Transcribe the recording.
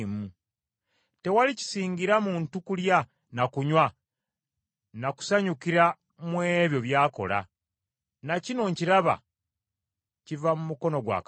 Tewali kisingira muntu kulya na kunywa na kusanyukira mu ebyo by’akola. Na kino nkiraba, kiva mu mukono gwa Katonda,